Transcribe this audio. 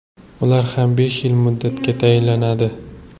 U ham besh yil muddatga tayinlanadi.